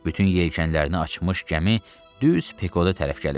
Bütün yelkənlərini açmış gəmi düz pekoda tərəf gəlirdi.